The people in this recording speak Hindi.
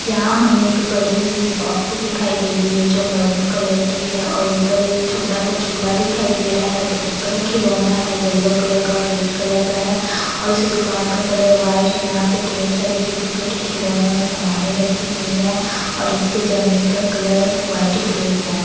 यहां हमें एक बड़ी सी बॉक्स दिखाई दे रही है जो मैरून कलर की है और ऊपर एक छोटा सा झूला दिखाई दे रहा है जो बच्चों का खिलौना है येलो कलर का रेड कलर का है और इस दुकान का कलर व्हाइट है यहां पे ढेर सारी छोटी छोटी खिलौने और सामने रखी हुई है और इसके जमीन का कलर व्हाइट ग्रे है।